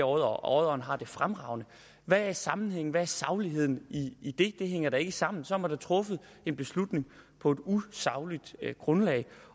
og at odderen har det fremragende hvad er sammenhængen hvad er sagligheden i det det hænger da ikke sammen så har man da truffet en beslutning på et usagligt grundlag